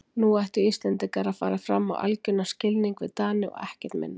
Nú ættu Íslendingar að fara fram á algjöran skilnað við Dani og ekkert minna.